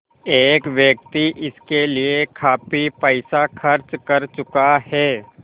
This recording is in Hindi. एक व्यक्ति इसके लिए काफ़ी पैसा खर्च कर चुका है